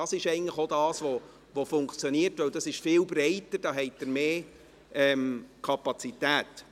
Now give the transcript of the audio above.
Es ist viel breiter und Sie haben mehr Kapazität.